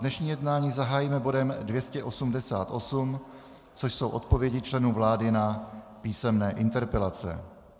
Dnešní jednání zahájíme bodem 288, což jsou odpovědi členů vlády na písemné interpelace.